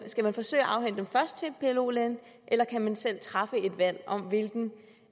skal man forsøge at afhænde dem først til en plo læge eller kan man selv træffe et valg om hvilken